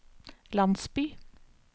landsby